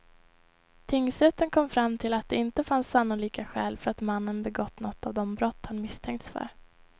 Tingsrätten kom fram till att det inte fanns sannolika skäl för att mannen begått något av de brott han misstänkts för.